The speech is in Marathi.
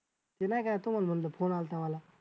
ते नाही काय तुम्हाला सांगतो phone आलता मला